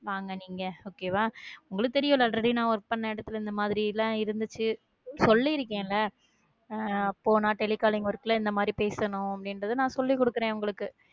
வாங்க நீங்க okay வா உங்களுக்கு தெரியும் நா already work பண்ண இடத்துல இந்த மாதிரி எல்லாம் இருந்துச்சு சொல்லி இருக்கேன்ல அஹ் போனா telecalling work ல இந்த மாதிரி பேசணும் அப்படின்றது நான் சொல்லி கொடுக்கிறேன் உங்களுக்கு